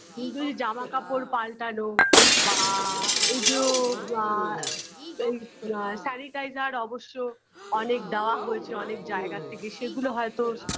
কিন্তু এই জামাকাপড় পাল্টানো বা এইযো বা এই আ sanitizer অবশ্য অনেক দেওয়া হয়েছে অনেক জায়গা থেকে সেগুলো হয়তো